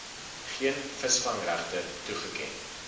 geen visvangregte toegeken